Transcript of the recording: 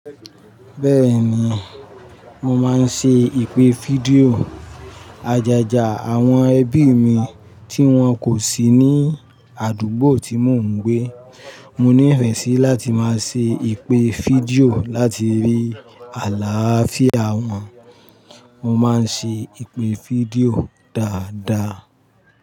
Bẹ́ẹ̀ni, mo máa ń ṣe ìpè fídíò àjàjà àwọn ẹbí mi tí wọ́n kò sí ní àdúgbò tí mò ń gbé. Mo ní ìrẹ̀nsí láti máa ṣe ìpè fídíò láti rí àlááfíà wọn. Mo máa ń ṣe ìpè fídíò dáadáa.